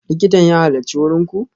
Likitan ya halarci wurin ku?